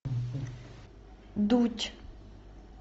дудь